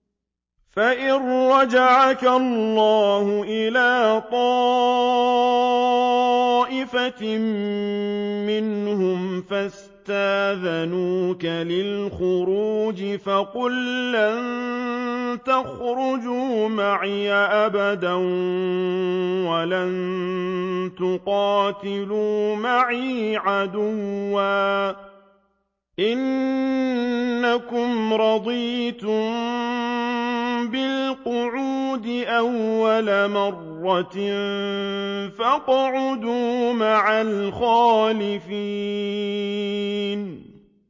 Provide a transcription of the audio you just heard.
فَإِن رَّجَعَكَ اللَّهُ إِلَىٰ طَائِفَةٍ مِّنْهُمْ فَاسْتَأْذَنُوكَ لِلْخُرُوجِ فَقُل لَّن تَخْرُجُوا مَعِيَ أَبَدًا وَلَن تُقَاتِلُوا مَعِيَ عَدُوًّا ۖ إِنَّكُمْ رَضِيتُم بِالْقُعُودِ أَوَّلَ مَرَّةٍ فَاقْعُدُوا مَعَ الْخَالِفِينَ